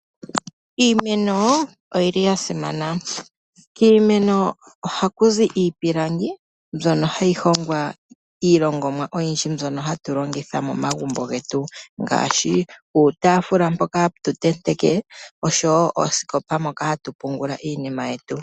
Iimeno oyili ya simana kiimeno oha ku zi iipilangi mbyono hayi hongwa iilongonwa oyindji mbyono hatu longitha momagumbo ngaashi uutaafula mpoka hatu ntenteke oshowo oosikopa moka hatu pungula iinima yetu.